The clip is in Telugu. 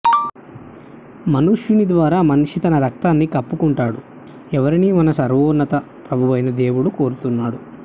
మనుష్యుని ద్వారా మనిషి తన రక్తాన్ని కప్పుకుంటాడు ఎవరిని మన సర్వోన్నత ప్రభువైన దేవుడు కోరుతున్నాడు